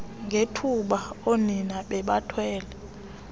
ngethuba oonina bebathwele